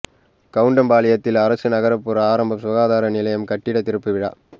கவுண்டம்பாளையத்தில் அரசு நகா்புற ஆரம்ப சுகாதார நிலைய கட்டிட திறப்பு விழா